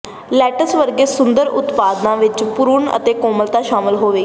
let's ਵਰਗੇ ਸੁੰਦਰ ਉਤਪਾਦਾਂ ਵਿੱਚ ਭਰੂਣ ਅਤੇ ਕੋਮਲਤਾ ਸ਼ਾਮਲ ਹੋਵੇਗੀ